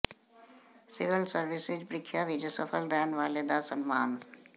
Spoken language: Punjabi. ਸਿਵਲ ਸਰਵਿਸਜ਼ ਪ੍ਰੀਖਿਆ ਵਿਚ ਸਫਲ ਰਹਿਣ ਵਾਲੇ ਦਾ ਸਨਮਾਨ